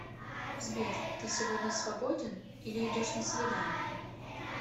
сбер ты сегодня свободен или идешь на свидание